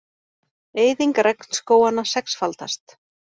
Eyðing regnskóganna sexfaldast